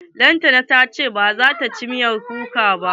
Lantana ta ce bazata ci miyar kuka ba.